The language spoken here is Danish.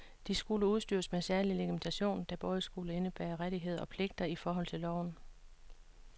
De skulle udstyres med særlig legitimation, der både skulle indebære rettigheder og pligter i forhold til loven.